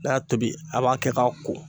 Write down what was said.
N'a y'a tobi a b'a kɛ k'a ko